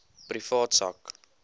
privaat sak